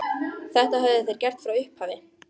Þetta höfðu þeir gert frá upphafi